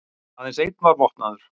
Aðeins einn var vopnaður